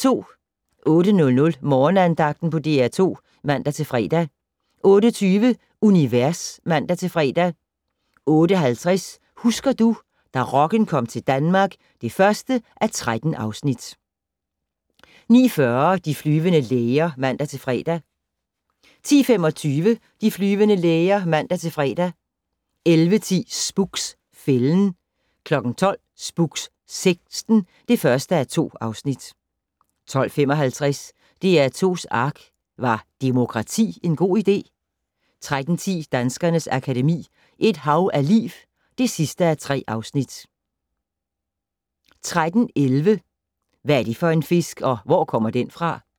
08:00: Morgenandagten på DR2 (man-fre) 08:20: Univers (man-fre) 08:50: Husker du - da rocken kom til Danmark (1:13) 09:40: De flyvende læger (man-fre) 10:25: De flyvende læger (man-fre) 11:10: Spooks: Fælden 12:00: Spooks: Sekten (1:2) 12:55: DR2s ARK - Var demokrati en god idé? 13:10: Danskernes Akademi: Et hav af liv (3:3) 13:11: Hvad er det for en fisk, og hvor kommer den fra?